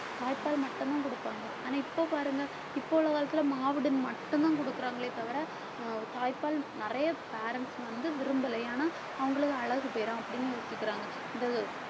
தாய்ப்பால் மட்டும்தான் குடுப்பாங்க. ஆனா இப்ப பாருங்க இப்ப உள்ள காலத்துல மாவடுன்னு மட்டும்தான் குடுக்கறாங்களே தவிர தாய்ப்பால் நிறைய parents வந்து விரும்பலை ஏன்னா அவங்களுக்கு அழகு போயிரும் அப்படின்னு யோசிக்கிறாங்க இந்த